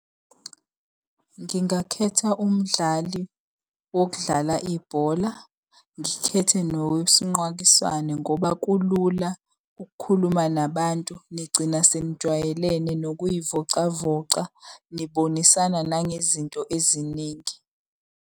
Ngingakhetha umdlali wokudlala ibhola, ngikhethe nowesinqwakiswane ngoba kulula ukukhuluma nabantu nigcina senijwayelene nokuy'vocavoca. Nibonisana nangezinto eziningi.